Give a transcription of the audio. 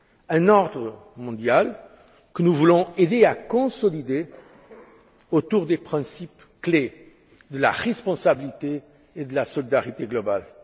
Un ordre mondial que nous voulons aider à consolider autour des principes clés de la responsabilité et de la solidarité globales.